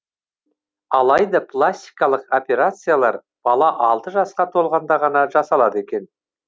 алайда пластикалық операциялар бала алты жасқа толғанда ғана жасалады екен